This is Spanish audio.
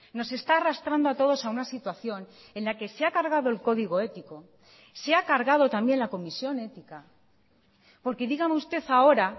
nos está arrastrando a todos a una situación en la que se ha cargado el código ético se ha cargado también la comisión ética porque dígame usted ahora